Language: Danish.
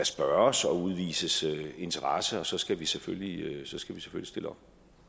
spørges og udvises interesse og så skal vi selvfølgelig stille op